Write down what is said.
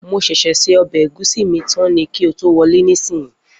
Mo ṣẹ̀ ṣẹ̀ se ọbẹ̀ egúsí mí tán ni kí o tó wọlé nísìyí.